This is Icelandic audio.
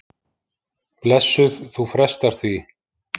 Blessuð, þú frestar því.